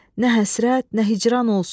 Nə həsrət, nə hicran olsun.